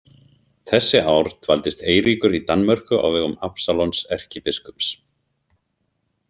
Þessi ár dvaldist Eiríkur í Danmörku á vegum Absalons erkibiskups.